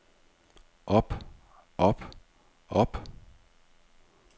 op op op